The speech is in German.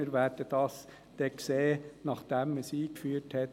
Das werden wir dann sehen, nachdem man es eingeführt hat.